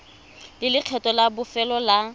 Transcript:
le lekgetho la bofelo la